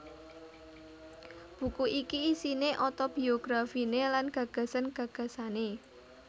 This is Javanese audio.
Buku iki isiné otobiografiné lan gagasan gagasané